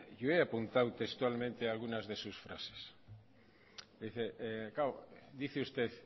yo he apuntado textualmente algunas de sus frases claro dice usted